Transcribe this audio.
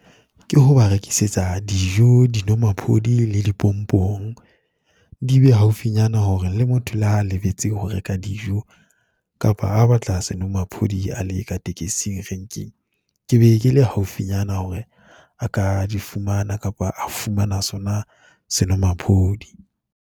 Ke ho ba rekisetsa dijo, dinwamaphodi le dipompong di be haufinyana hore le motho le ha a lebetse ho reka dijo, kapa ha ba tla senwamaphodi a le ka tekesing renking. Ke be ke le haufinyana hore a ka di fumana kapa a fumana sona senwamaphodi.